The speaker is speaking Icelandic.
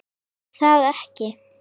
er það ekki?